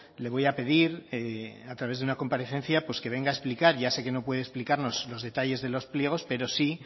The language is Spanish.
le voy a pedir a través de una comparecencia pues que venga a explicar ya sé que no puede explicarnos los detalles de los pliegos pero sí